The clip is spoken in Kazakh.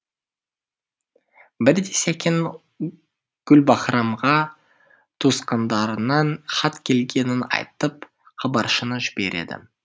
бірде сәкен гүлбаһрамға туысқандарынан хат келгенін айтып хабаршыны жібереді